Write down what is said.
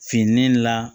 Finnen la